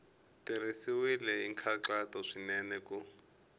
tirhisiwile hi nkhaqato swinene ku